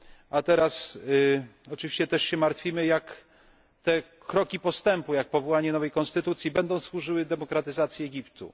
a teraz oczywiście też się martwimy, jak te kroki postępu, jak powołanie nowej konstytucji będą służyły demokratyzacji Egiptu.